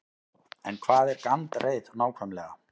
En hvað er gandreið nákvæmlega?